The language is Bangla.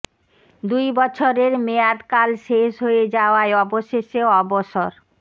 দুই বছরেরে মেয়াদ কাল শেষ হয়ে যাওয়ায় অবশেষে অবসর